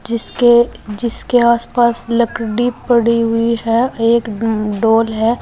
जिसके जिसके आसपास लकड़ी पड़ी हुई है। एक म्म डॉल है।